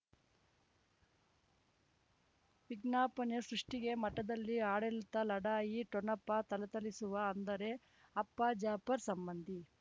ವಿಜ್ಞಾಪನೆ ಸೃಷ್ಟಿಗೆ ಮಠದಲ್ಲಿ ಆಡಳಿತ ಲಢಾಯಿ ಠೊಣಪ ಥಳಥಳಿಸುವ ಅಂದರೆ ಅಪ್ಪ ಜಾಫರ್ ಸಂಬಂಧಿ